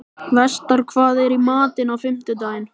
Vestar, hvað er í matinn á fimmtudaginn?